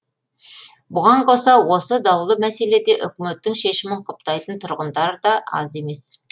бұған қоса осы даулы мәселеде үкіметтің шешімін құптайтын тұрғындар да аз емес